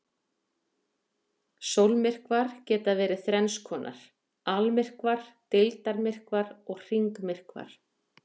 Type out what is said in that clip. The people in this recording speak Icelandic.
Sólmyrkvar geta verið þrenns konar: Almyrkvar, deildarmyrkvar og hringmyrkvar.